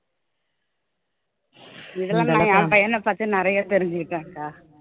இதுல நான் என் பையன பத்தி நிறைய தெரிஞ்சுகிட்டேன் அக்கா